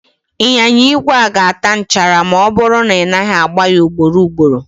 Ịnyịnya igwe a ga-ata nchara ma ọ bụrụ na ị naghị agba ya ugboro ugboro